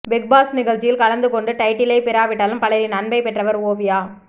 big Boss நிகழ்ச்சியில் கலந்து கொண்டு டைட்டிலை பெறாவிட்டாலும் பலரின் அன்பை பெற்றவர் ஓவியா